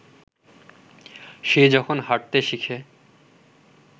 সে যখন হাঁটতে শিখে